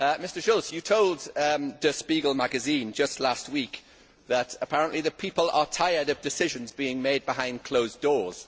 Mr Schulz, you told Der Spiegel magazine just last week that apparently people are tired of decisions being made behind closed doors.